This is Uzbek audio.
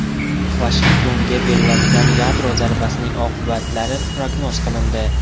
Vashingtonga beriladigan yadro zarbasining oqibatlari prognoz qilindi.